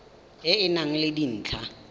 e e nang le dintlha